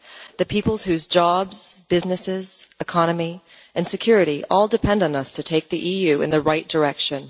The peoples whose jobs, businesses, economy and security all depend on us to take the EU in the right direction.